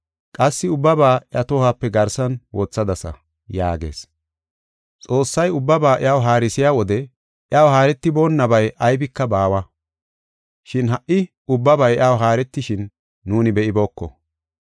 Qassi ubbaba iya tohuwape garsan wothadasa” yaagees. Xoossay ubbaba iyaw haarisiya wode iyaw haaretiboonabay aybika baawa. Shin ha77i ubbabay iyaw haaretishin nuuni be7ibooko.